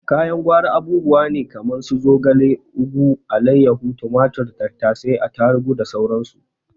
Kayan gwari abubuwa ne kaman su zogale, ugu, alaiyahu, tumatur, tattasai, tarugu da sauran su.